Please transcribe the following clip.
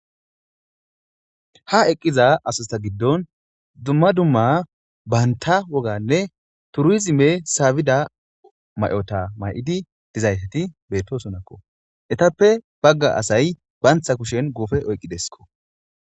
Ha eqqiza asasta giddon dumma dumma banta woganne turizime saabida mayota mayidi dizaytati betto sonakko. Etappe bagga asay bantha kushen gufe oyqqideskko.